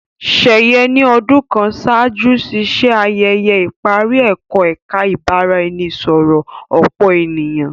Sheye ni ọdun kàn ṣáájú ṣiṣe ayẹyẹ ìparí ẹkọ ẹka ibaraẹnisọrọ ọpọ ènìyàn.